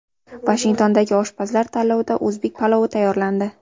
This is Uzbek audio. Vashingtondagi oshpazlar tanlovida o‘zbek palovi tayyorlandi.